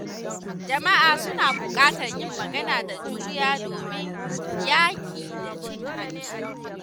Jama’a suna buƙatar yin magana da juriya domin yaƙi da cin hanci.